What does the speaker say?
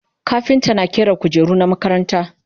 kafinta na ƙera kujeru na makaranta